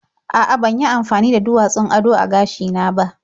A'a, ban yi amafani da duwatsun ado a gashina ba.